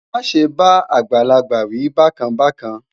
má sé bá àgbàlagbà wí bákan bákan